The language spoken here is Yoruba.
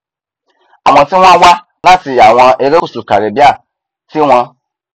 àwọn tí wọn wá láti àwọn erékùṣù caribbean tí wọn